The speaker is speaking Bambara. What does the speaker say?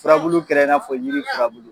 Fura bulu kɛra in n'a fɔ yiri fura bulu